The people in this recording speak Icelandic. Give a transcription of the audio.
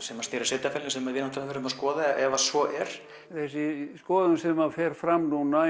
sem að snýr að sveitarfélaginu sem við verðum að skoða ef að svo er þessi skoðun sem að fer fram núna